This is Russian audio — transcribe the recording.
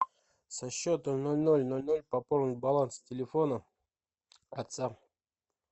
со счета ноль ноль ноль ноль пополнить баланс телефона отца